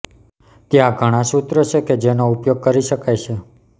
ત્યાં ઘણા સૂત્રો છે કે જેનો ઉપયોગ કરી શકાય છે